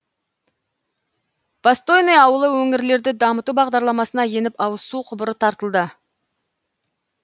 востойный ауылы өңірлерді дамыту бағдарламасына еніп ауызсу құбыры тартылды